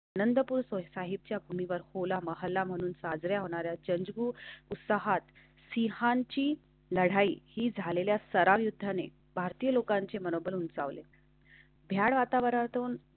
नंदपुर साहिबच्या पुळणीवर होला मोहल्ला म्हणून साजरा चेंज भू उत्साहात सिंहांची लढाई ही झालेले सताना युद्धाने भारतीय लोकांचे मनोबल उंचावले भ्याड वातावरणातून.